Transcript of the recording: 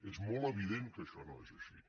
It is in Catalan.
és molt evident que això no és així